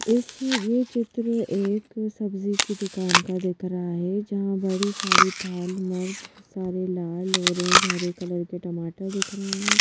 इस यह चित्र एक सब्जी की दुकान का दिख रहा है जहाँ बड़ी सारी थाल मर्ब सारे लाल ऑरेंज हरे कलर के टमाटर दिख रहा है।